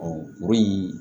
o ye